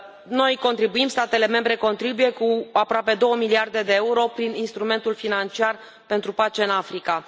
Noi contribuim, statele membre contribuie cu aproape două miliarde de euro prin Instrumentul financiar pentru pace în Africa.